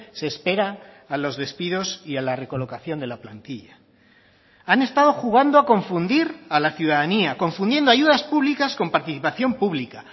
se espera a los despidos y a la recolocación de la plantilla han estado jugando a confundir a la ciudadanía confundiendo ayudas públicas con participación pública